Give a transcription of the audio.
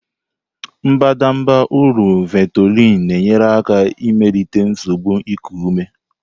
Mbadamba ụrọ Ventolin na-enyere aka melite nsogbu iku ume.